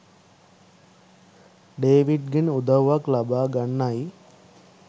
ඩේවිඩ්ගෙන් උදව්වක් ලබා ගන්නයි